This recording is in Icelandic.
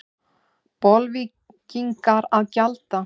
Bolvíkingar að gjalda?